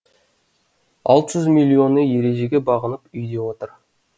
алты жүз миллионы ережеге бағынып үйде отыр